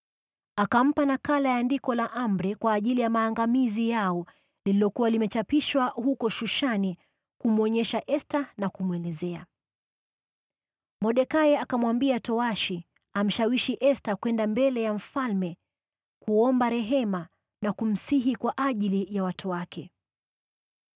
Akampa nakala ya andiko la amri kwa ajili ya maangamizi yao, lililokuwa limechapishwa huko Shushani, kumwonyesha Esta na kumwelezea. Mordekai akamwambia towashi amshawishi Esta kwenda mbele ya mfalme kuomba rehema na kumsihi kwa ajili ya watu wake.